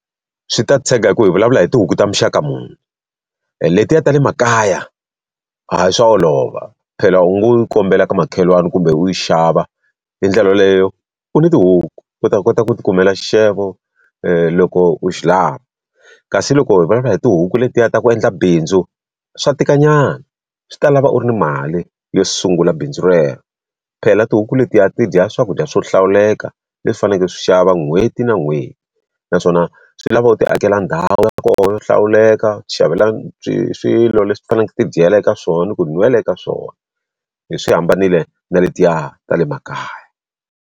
Swi ta tshega hi ku hi vulavula hi tihuku ta muxaka muni. Letiya ta le makaya hayi swa olova. Phela u ngo yi kombela ka makhelwani kumbe u yi xava, hi ndlela leyo u ni tihuku u ta kota ku ti kumela xixevo loko u xi lava. Kasi loko hi vulavula hi tihuku letiya ta ku endla bindzu, swa tikanyana, swi ta lava u ri ni mali yo sungula bindzu rero. Phela tihuku letiya ti dya swakudya swo hlawuleka leswi u faneleke u swi xava n'hweti na n'hweti. Naswona swi lava u ti akela ndhawu ya tona yo hlawuleka, u ti xavela swilo leswi ti faneleke ti dyela eka swona, ku nwela eka swona. Swi hambanile na letiya ta le makaya.